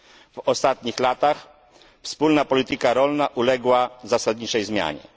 W ostatnich latach wspólna polityka rolna uległa zasadniczej zmianie.